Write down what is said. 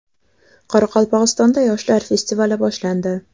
Qoraqalpog‘istonda yoshlar festivali boshlandi.